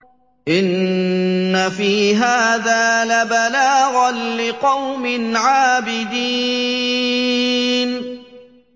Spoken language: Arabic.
إِنَّ فِي هَٰذَا لَبَلَاغًا لِّقَوْمٍ عَابِدِينَ